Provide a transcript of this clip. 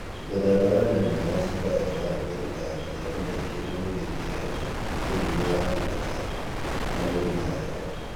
Mũthemba wa nyanya wa Ciba F1 ĩrutaga maciaro maĩngĩ na nĩ ĩtiragia mĩrimũ ya mathangũ ta mũrimũ wa heho